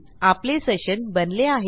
आपले सेशन बनले आहे